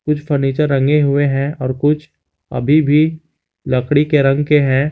कुछ फर्नीचर रंगे हुए हैं और कुछ अभी भी लकड़ी के रंग के हैं।